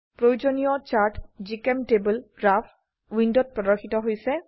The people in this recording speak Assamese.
প্ৰয়োজনীয় চাৰ্ট জিচেম্টেবল গ্ৰাফ উইন্ডোত প্ৰদৰ্শিত হৈছে